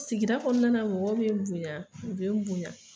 Sigidakɔnɔna na mɔgɔw be n bonya u be n bonya